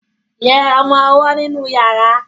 yé ọmọ owó nínú yàrá.